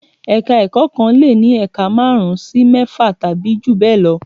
Ẹ̀ka-ẹ̀kọ́ kan lè ní ẹ̀ka márùn-ún sí mẹ́fà tàbí jù bẹ́ẹ̀ lọ.